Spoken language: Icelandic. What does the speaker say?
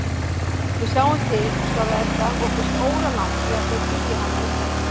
Við sjáum til, svarar Edda og finnst óralangt í að þau biðji hana um þetta.